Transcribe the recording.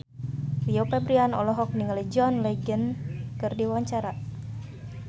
Rio Febrian olohok ningali John Legend keur diwawancara